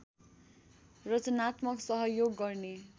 रचनात्मक सहयोग गर्ने